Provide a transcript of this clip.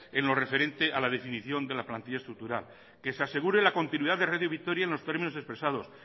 en lo referente a la definición de la plantilla estructural que se asegure la continuidad de radio vitoria en los términos expresados